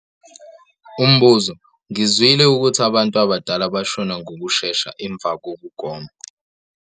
Umbuzo- Ngizwile ukuthi abantu abadala bashona ngokushesha emva kokugoma.